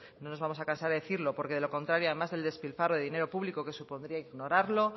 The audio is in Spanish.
no nos vamos a cansar de decirlo porque de lo contrario además del despilfarro del dinero público que supondría ignorarlo